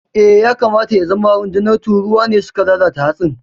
Eh, ya kamata ya zama rundunar tururuwa ne suka lalata hatsin.